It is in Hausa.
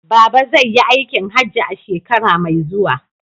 Baba zai yi aikin hajji a shekara mai zuwa.